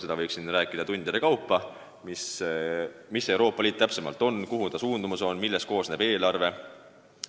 Siin võiks tundide kaupa rääkida teemal, mis see Euroopa Liit täpsemalt on, kuhu ta suundumas on, millest koosneb tema eelarve.